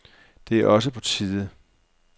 Det er også på tide.